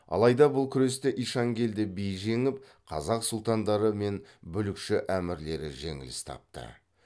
алайда бұл күресте ишанкелді би жеңіп қазақ сұлтандары мен бүлікші әмірлері жеңіліс тапты